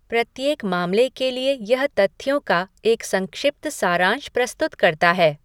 प्रत्येक मामले के लिए यह तथ्यों का एक संक्षिप्त सारांश प्रस्तुत करता है।